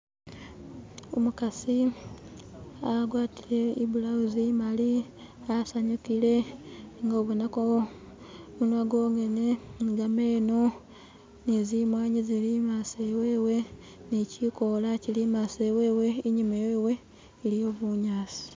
Umukasi agwatile ibulawuzi imali asanyukile nga ubonako gumunwa gwongene ni gameno ni zimwanyi zili imaso iwewe ni kikoola kili imaso iwewe, inyuma iwewe iliyo bunyasi.